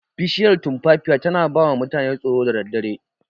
Bishiyar tumfafiya tana bawa mutane tsoro da daddare.